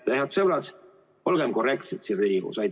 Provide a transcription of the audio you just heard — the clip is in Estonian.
Head sõbrad, olgem korrektsed siin Riigikogus!